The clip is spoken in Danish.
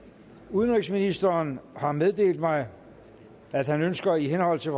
udenrigsministeren har meddelt mig at han ønsker i henhold til